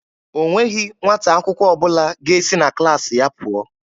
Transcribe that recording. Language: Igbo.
O nweghị nwata akwụkwọ praịmarị ọbụla ga-esi na klaasị ya pụọ.